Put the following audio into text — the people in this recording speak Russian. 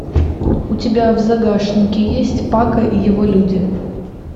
у тебя в загашнике есть пако и его люди